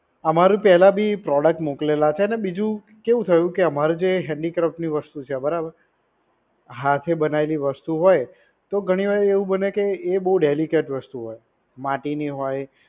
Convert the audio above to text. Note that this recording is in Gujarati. અમારું પહેલા ભી produst મોકલેલા છે અને બીજું કેવું થયું કે અમારે જે handicraft ની વસ્તુ છે બરાબર હાથે બનાવેલી વસ્તુ હોય તો ઘણી વાર એવું બને કે એ બોવ delicate વસ્તુ હોય, માટી ની હોય